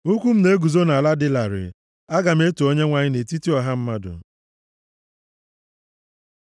Ụkwụ m na-eguzo nʼala dị larịị; aga m eto Onyenwe anyị nʼetiti ọha mmadụ.